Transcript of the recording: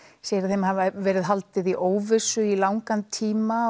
segir að þeim hafi verið haldið í óvissu í langan tíma